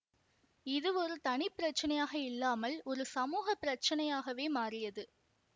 இது ஒரு தனி பிரச்சனையாக இல்லமால் ஒரு சமூக பிரச்சனையாகவே மாறியது